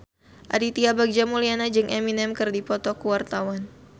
Aditya Bagja Mulyana jeung Eminem keur dipoto ku wartawan